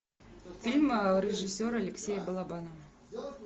фильм режиссера алексея балабанова